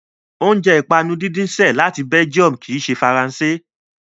Oúnjẹ ìpanu díndín ṣẹ́ ẹ̀ láti Belgium kì í ṣe Faransé.